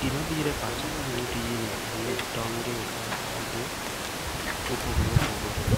Gima biro e pacha kaneno tijni en ni tong gi otogi mopogore opogore